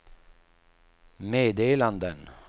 meddelanden